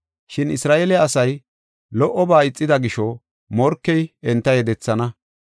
Shin Isra7eele asay lo77oba ixida gisho, morkey enta yedethana.